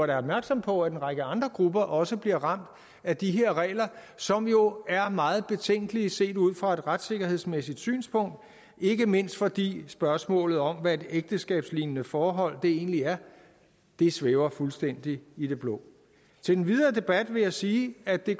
da opmærksom på at en række andre grupper også bliver ramt af de her regler som jo er meget betænkelige set ud fra et retssikkerhedsmæssigt synspunkt ikke mindst fordi spørgsmålet om hvad et ægteskabslignende forhold egentlig er svæver fuldstændig i det blå til den videre debat vil jeg sige at det